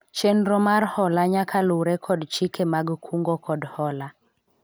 chenro mar hola nyaka luwre kod chike mag kungo kod hola